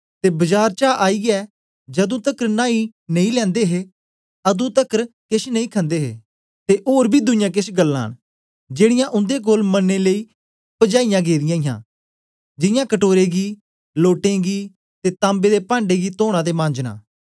ते बजार चा आईयै जदू तकर नाई नेई लैंदे हे अतुं तकर केछ नेई खन्दे हे ते ओर बी दुईयां केछ गल्लां न जेड़ीयां उन्दे कोल मनने लेई पजाईयां गेदियां हां जियां कटोरे गी लोटें गी ते तांबे दे पाण्डें गी तोना ते मांजना